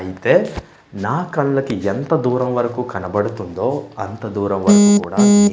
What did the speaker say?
ఐతే నా కళ్ళకి ఎంత దూరం వరకు కనబడుతుందో అంత దూరం వరకు కూడా --